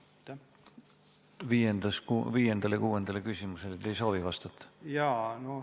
Viiendale küsimusele te ei soovi vastata?